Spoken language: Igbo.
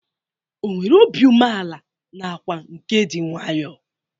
Ọ nwere obi umeala nakwa nke dị nwaayọ?